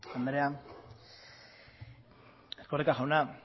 andrea erkoreka jauna